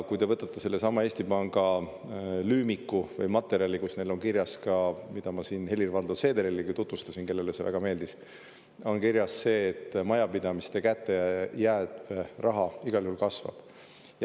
Kui te võtate sellesama Eesti Panga lüümiku või materjali, kus neil on kirjas ka, mida ma siin Helir-Valdor Seederilegi tutvustasin, kellele see väga meeldis, on kirjas see, et majapidamiste kätte jääv raha igal juhul kasvab.